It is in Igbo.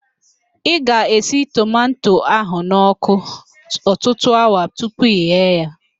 Ị ga-esi tomanto ahụ n'ọkụ ọtụtụ awa tupu ị ghee ya